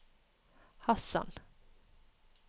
Hasan